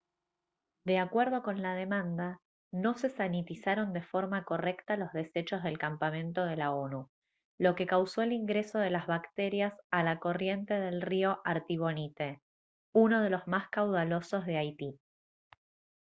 de acuerdo con la demanda no se sanitizaron de forma correcta los desechos del campamento de la onu lo que causó el ingreso de las bacterias a la corriente del río artibonite uno de los más caudalosos de haití